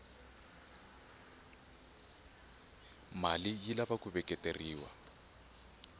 male yilava kuveketela